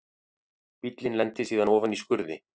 Bíllinn lenti síðan ofan í skurði